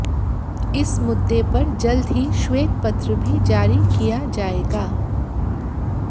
इस मुद्दे पर जल्द ही श्वेत पत्र भी जारी किया जाएगा